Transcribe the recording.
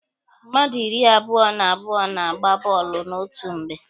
Mmadụ iri abụọ na abụọ na-agba bọọlụ n'otu mgbe.